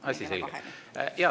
Asi selge.